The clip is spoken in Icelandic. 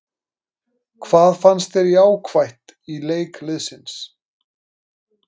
Hvað fannst þér jákvætt í leik liðsins?